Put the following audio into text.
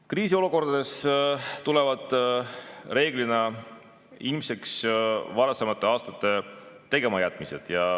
Kriisiolukordades tulevad reeglina ilmseks varasemate aastate tegematajätmised.